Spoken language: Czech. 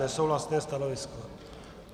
Nesouhlasné stanovisko.